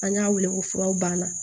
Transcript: An y'a wele ko furaw banna